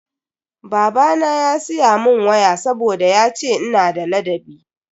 Babana ya siya mun waya saboda yace ina da ladabi.